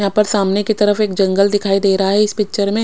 यहा सामने की तरफ एक जंगल दिखाई दे रहा है इस पिक्चर में।